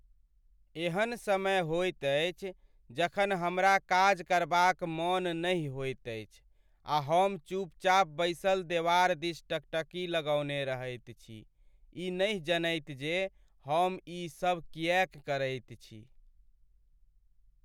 एहन समय होइत अछि जखन हमरा काज करबाक मन नहि होइत अछि आ हम चुपचाप बैसल देवार दिस टकटकी लगौने रहैत छी, ई नहि जनैत जे हम ईसभ किएक करैत छी।